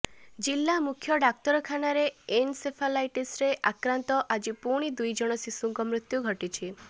ଜିଳ୍ଲା ମୁଖ୍ୟ ଡାକ୍ତରଖାନାରେ ଏନସେଫାଲାଇଟିସରେ ଆକ୍ରାନ୍ତ ଆଜି ପୁଣି ଦୁଇ ଜଣ ଶିଶୁଙ୍କ ମୃତ୍ୟୁ ଘଟିଛି